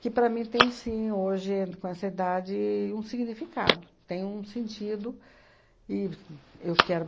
que, para mim, tem sim, hoje, com essa idade, um significado, tem um sentido e eu quero